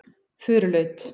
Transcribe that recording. Furulaut